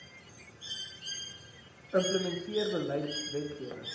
implementeer beleid wetgewing